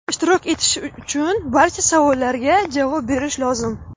ishtirok etish uchun barcha savollarga javob berish lozim.